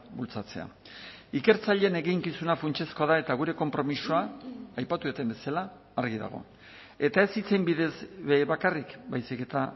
bultzatzea ikertzaileen eginkizuna funtsezkoa da eta gure konpromisoa aipatu dudan bezala argi dago eta ez hitzen bidez bakarrik baizik eta